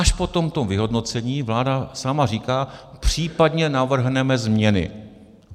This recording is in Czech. Až po tomto vyhodnocení vláda sama říká: případně navrhneme změny.